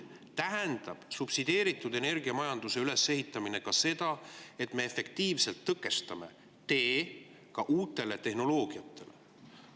Subsideeritud energiamajanduse ülesehitamine tähendab ka seda, et me efektiivselt tõkestame tee uutele tehnoloogiatele.